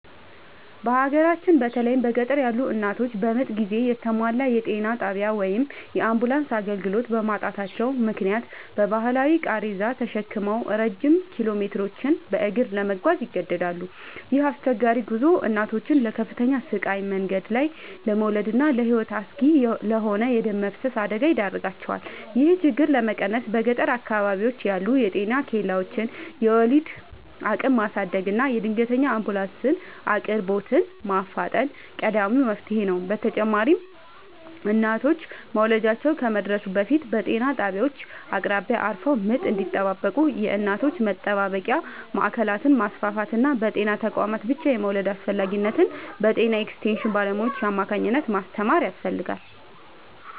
በሀገራችን በተለይም በገጠር ያሉ እናቶች በምጥ ጊዜ የተሟላ የጤና ጣቢያ ወይም የአምቡላንስ አገልግሎት በማጣታቸው ምክንያት በባህላዊ ቃሬዛ ተሸክመው ረጅም ኪሎሜትሮችን በእግር ለመጓዝ ይገደዳሉ። ይህ አስቸጋሪ ጉዞ እናቶችን ለከፍተኛ ስቃይ፣ መንገድ ላይ ለመውለድና ለሕይወት አስጊ ለሆነ የደም መፍሰስ አደጋ ይዳርጋቸዋል። ይህንን ችግር ለመቀነስ በገጠር አካባቢዎች ያሉ የጤና ኬላዎችን የወሊድ አቅም ማሳደግና የድንገተኛ አምቡላንስ አቅርቦትን ማፋጠን ቀዳሚው መፍትሔ ነው። በተጨማሪም እናቶች መውለጃቸው ከመድረሱ በፊት በጤና ጣቢያዎች አቅራቢያ አርፈው ምጥ እንዲጠባበቁ የእናቶች መጠባበቂያ ማዕከላትን ማስፋፋትና በጤና ተቋማት ብቻ የመውለድን አስፈላጊነት በጤና ኤክስቴንሽን ባለሙያዎች አማካኝነት ማስተማር ያስፈልጋል።